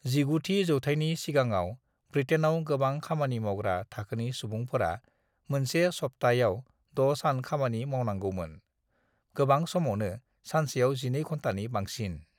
"19 थि जौथायनि सिगाङाव, ब्रिटेनआव गोबां खामानि मावग्रा थाखोनि सुबुंफोरा मोनसे सप्ताहयाव द' सान खामानि मावनांगौमोन, गोबां समावनो सानसेयाव जिनै घन्टानि बांसिन।"